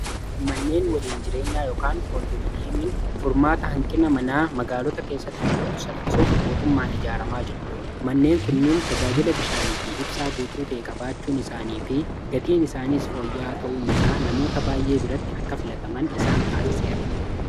manneen waliin jireenya koondoominiyeemiin furmaata hanqina manaa magaalota keessatti mul'atu salphisuuf mootummaan ijaaramaa jiru manneen kunnien tajaajila bishaanii fi ibsaa guutuu ta'e qa-baachuun isaanii fi gatiin isaaniis fooyyaaa ta'uunisaa namoota baay'ee biratti akka filataman isaan taasiseera